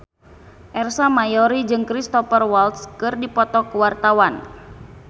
Ersa Mayori jeung Cristhoper Waltz keur dipoto ku wartawan